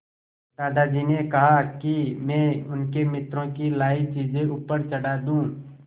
दादाजी ने कहा कि मैं उनके मित्रों की लाई चीज़ें ऊपर चढ़ा दूँ